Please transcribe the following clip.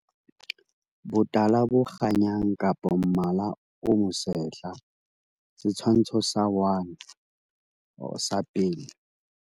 Botala bo kganyang kapa mmala o mosehla. Setshwantsho sa 1 or sa pele.